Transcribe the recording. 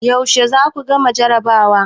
Yaushe za ku gama jarabawa?